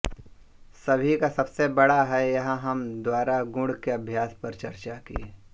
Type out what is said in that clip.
सभी का सबसे बड़ा है यहां हम द्वारा गुण के अभ्यास पर चर्चा की